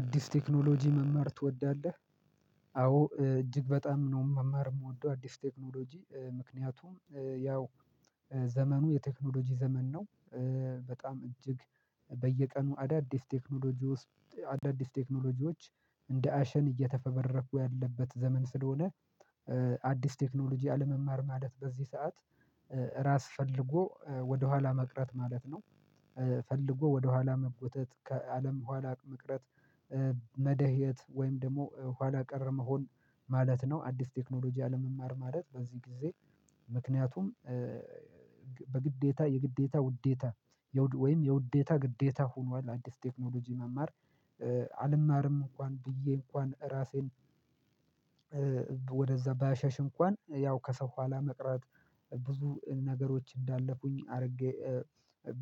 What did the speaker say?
አዲስ ቴክኖሎጂ መማር ትወዳለህ? አዎ እጅግ በጣም ነው መማር ምወደው አዲስ ቴክኖሎጂ ምክንያቱም ያው ዘመኑ የቴክኖሎጂ ዘመን ነው። በጣም እጅግ በየቀኑ አዳዲስ ቴክኖሎጂ ውስጥ አዳዲስ ቴክኖሎጂዎች እንደ አሸን እየተፈበረኩ ያለበት ዘመን ስለሆነ አዲስ ቴክኖሎጂ አለመማር ማደት በዚህ ሰዓት ራስ ፈልጎ ወደኋላ መቅረት ማለት ነው። ፈልጎ ወደኋላ መጎተት ከአለም ኋላ መቅረት መደህየት ወይም ደግሞ ኋላ ቀር መሆን ማለት ነው። አዲስ ቴክኖሎጂ አለመማር ማለት በዚህ ጊዜ ምክንያቱም በግዴታ የግዴታ ውዴታ ወይም የውዴታ ግዴታ ሆኗል። አዲስ ቴክኖሎጂ መማር አልማርም እንኳን ብዬ እንኳን ራሴን ወደዛ ባያሸሽ እንኳን ያው ከሰው በኋላ መቅራት ብዙ ነገሮች እንዳለፉኝ አድርጌ